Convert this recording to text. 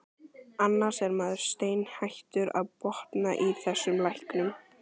Annars er maður steinhættur að botna í þessum læknum.